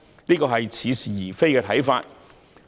這是似是而非的看法。